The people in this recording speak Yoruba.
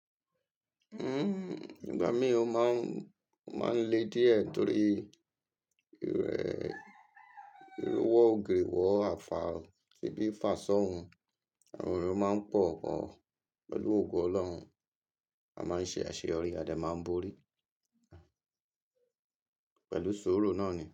Igba mi, o máa ń le díẹ̀ torí irẹ irú wọ́ ògiri wọ́ àfàá, ṣíbí fàṣá òun. Àwọn èrò máa ń pọ̀ gan pẹ̀lú ògo Ọlọ́run. A máa ń ṣe àṣeyọrí, adé máa ń borí pẹ̀lú sọ́rọ́ náà ni.